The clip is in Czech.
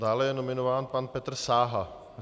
Dále je nominován pan Petr Sáha.